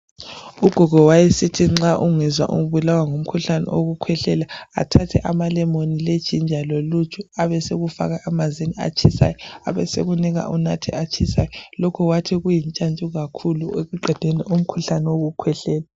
Ugogo wayesithi nxa ungezwa ubulawa ngumkhuhlane wokukhwehlela athathe amalemoni, lejinja loluju abesekufaka emanzini atshisayo abesekunika unathe atshisayo lokhu wayesithi kuyintshantshu ekuqedeni umkhuhlane wokukhwehlela